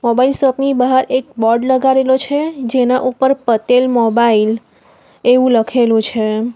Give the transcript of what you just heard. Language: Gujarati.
મોબાઈલ શોપ ની બહાર એક બોર્ડ લગાડેલો છે જેના ઉપર પટેલ મોબાઇલ એવું લખેલું છે.